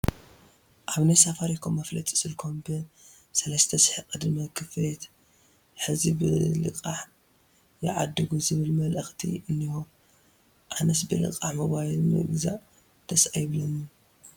ኣብ ናይ ሳፋሪኮም መፋለጢ ስልኮም ብ3000 ቅድመ ክፍሊት ሕዚ ብልቃሕ ይዓድጉ ዝብል መልእኽቲ እኒሆ፡፡ ኣነስ ብልቃሕ ሞባይል ምግዛእ ደስ ኣይብለንን፡፡